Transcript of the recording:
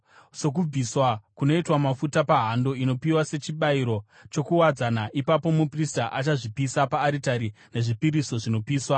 sokubviswa kunoitwa mafuta pahando inopiwa sechibayiro chokuwadzana. Ipapo muprista achazvipisa paaritari yezvipiriso zvinopiswa.